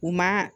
U ma